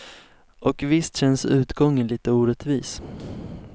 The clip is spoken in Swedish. Och visst känns utgången lite orättvis.